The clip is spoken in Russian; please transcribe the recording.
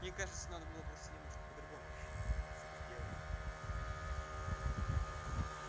мне кажется надо было просто немножко по-другому хи-хи это всё сделать например